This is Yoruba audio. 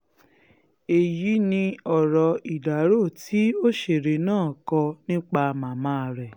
èyí ni ọ̀rọ̀ ìdárò tí òṣèré náà kọ nípa màmá rẹ̀